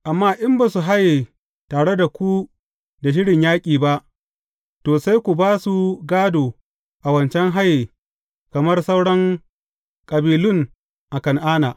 Amma in ba su haye tare da ku da shirin yaƙi ba, to, sai ku ba su gādo a wancan haye kamar sauran kabilun a Kan’ana.